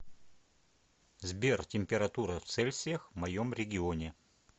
сбер температура в цельсиях в моем регионе